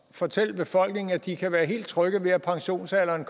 fortælle befolkningen at de kan være helt trygge ved at pensionsalderen